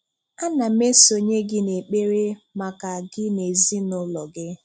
A na m esonye gị n'ekpere maka gị na ezinụlọ gị.